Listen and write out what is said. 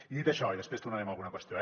i dit això i després tornarem a alguna qüestió